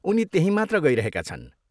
उनी त्यहीँ मात्र गइरहेका छन्।